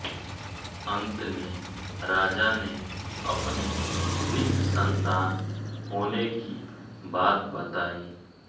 अन्त में राजा ने अपने निःसन्तान होने की बात बताई